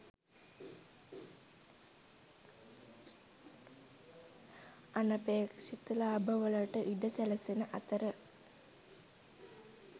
අනපේක්ෂිත ලාභවලට ඉඩ සැලසෙන අතර